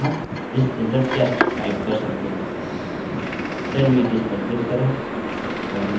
तथा अब हम यहाँ आते हैं और आप यहाँ alex और यहाँ this is a test! Type कर सकते हैं